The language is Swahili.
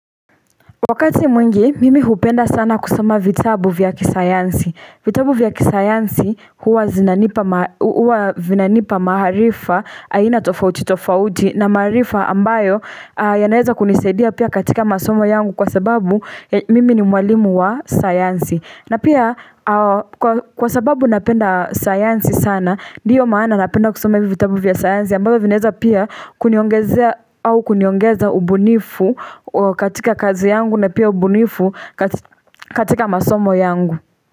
Wakati mwingi, mimi hupenda sana kusoma vitabu vya kisayansi. Vitabu vya kisayansi huwa vinanipa maarifa, aina tofauti tofauti na maarifa ambayo yanaweza kunisaidia pia katika masomo yangu kwa sababu mimi ni mwalimu wa sayansi. Na pia kwa sababu napenda sayansi sana, ndiyo maana napenda kusoma vitabu vya sayansi ambavyo vinaweza pia kuniongezea au kuniongeza ubunifu katika kazi yangu na pia ubunifu katika masomo yangu.